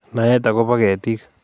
Naet akobo ketiik